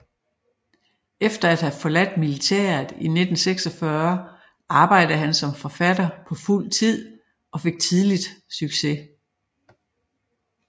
Efter at have forladt militæret i 1946 arbejdede han som forfatter på fuld tid og fik tidligt succes